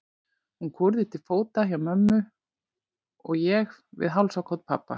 Hún kúrði til fóta hjá mömmu og ég við hálsakot pabba.